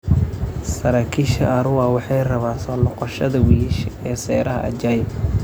Saraakiisha Arua waxay rabaan soo noqoshada wiyisha ee seeraha Ajai.